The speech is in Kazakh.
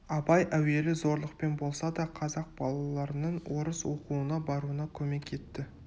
абай әуелі зорлықпен болса да қазақ балаларының орыс оқуына баруына көмек етті